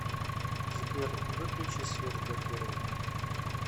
сбер выключи свет в гардеробной